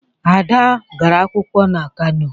Ada gara akwụkwọ na Kano.